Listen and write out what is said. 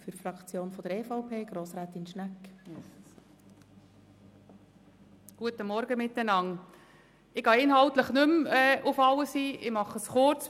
Ich gehe inhaltlich nicht mehr auf alles ein und fasse mich kurz.